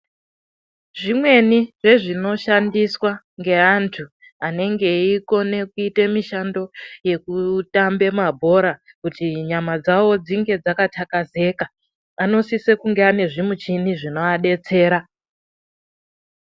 Zvimwenii zvezvinoshandiswa ngeantu anenge eikone kuite mishando yekutambe mabhora , kuti nyama dzavo dzinge dzakathakazeka, anosise kunge ane zvimuchini zvinoadetsera.